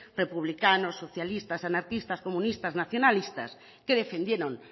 republicanos socialistas anarquistas comunistas nacionalistas que defendieron